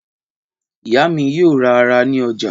Ìyá mi yóò ra ara ní ọjà.